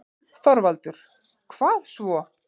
ÞORVALDUR: Hvað svo?